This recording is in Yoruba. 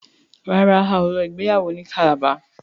ràrá ào ló ìgbéyàwó ní Calabar.